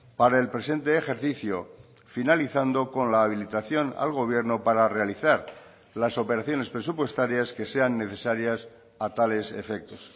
para el presente ejercicio finalizando con la habilitación al gobierno para realizar las operaciones presupuestarias que sean necesarias a tales efectos